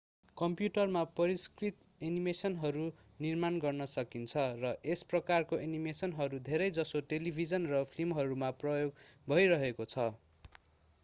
कम्प्युटरमा परिष्कृत एनिमेसनहरू निर्माण गर्न सकिन्छ र यस प्रकारको एनिमेसनहरू धेरै जसो टेलिभिजन र फिल्महरूमा प्रयोग भइरहेको छ